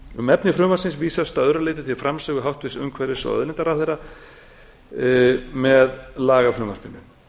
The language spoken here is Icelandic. um efni frumvarpsins vísast að öðru leyti til framsögu háttvirts umhverfis og auðlindaráðherra með lagafrumvarpinu